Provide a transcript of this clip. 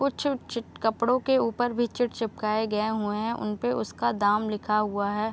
कुछ कुछ कपड़ो के ऊपर भी चीट चिपकाये गए हुए है। उनपे उसका दाम लिखा हुआ है।